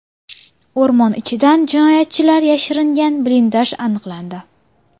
O‘rmon ichidan jinoyatchilar yashiringan blindaj aniqlandi.